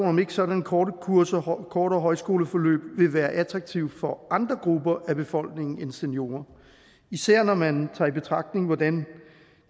om ikke sådanne korte kurser kortere højskoleforløb vil være attraktive for andre grupper af befolkningen end seniorer især når man tager i betragtning hvordan